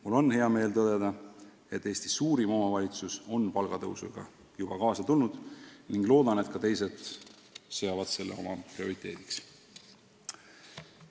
Mul on hea meel tõdeda, et Eesti suurim omavalitsus on palgatõusuga juba kaasa tulnud, loodan väga, et ka teised seavad selle oma prioriteediks.